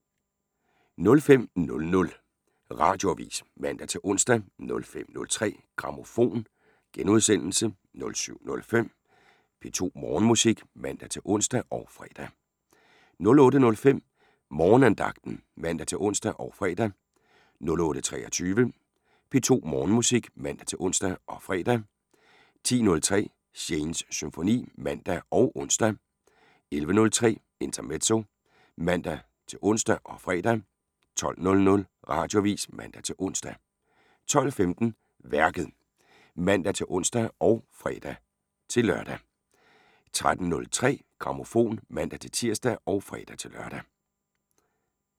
05:00: Radioavis (man-ons) 05:03: Grammofon *(man-søn) 07:05: P2 Morgenmusik (man-ons og fre) 08:05: Morgenandagten (man-ons og fre) 08:23: P2 Morgenmusik (man-ons og fre) 10:03: Shanes Symfoni (man og ons) 11:03: Intermezzo (man-ons og fre) 12:00: Radioavis (man-ons) 12:15: Værket (man-ons og fre-lør) 13:03: Grammofon (man-tir og fre-lør)